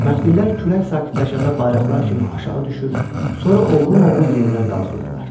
Məftillər külək sakitləşəndə bayraqlar kimi aşağı düşür, sonra oğrun-oğrun yenidən qalxırdılar.